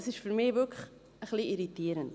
Das ist für mich wirklich ein wenig irritierend.